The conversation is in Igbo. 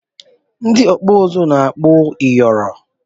Ndị ọkpụ uzu na-akpọ ịyịọrị